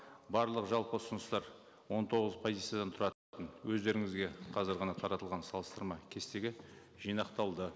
барлығы жалпы ұсыныстар он тоғыз позициядан тұратын өздеріңізге қазір ғана таратылған салыстырма кестеге жинақталды